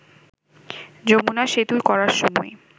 যমুনা সেতু করার সময়